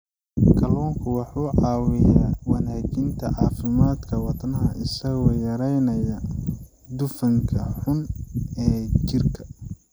Kalluunku wuxuu caawiyaa wanaajinta caafimaadka wadnaha isagoo yareynaya dufanka xun ee jirka.